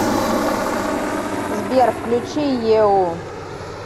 сбер включи еу